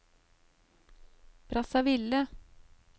Brazzaville